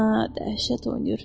Hə, dəhşət oynayır.